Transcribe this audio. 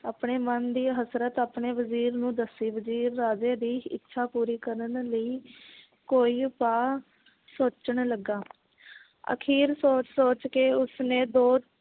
ਆਪਣੇ ਮਨ ਦੀ ਹਸਰਤ ਆਪਣੇ ਵਜ਼ੀਰ ਨੂੰ ਦੱਸੀ ਵਜ਼ੀਰ ਰਾਜੇ ਦੀ ਇੱਛਾ ਪੂਰੀ ਕਰਨ ਲਈ ਕੋਈ ਉਪਾਅ ਸੋਚਣ ਲੱਗਾ ਅਖੀਰ ਸੋਚ ਸੋਚ ਕੇ ਉਸਨੇ ਦੋ